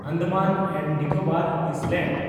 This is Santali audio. Andaman and Nicobar island